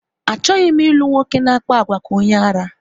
Achọghị m ilu nwoke na-akpa àgwà ka onye ara